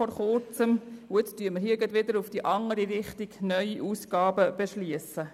Nun beschliessen wir hier wieder in die andere Richtung neue Ausgaben.